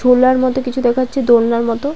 ঝোলার মতো কিছু দেখাচ্ছে দোলনার মতো।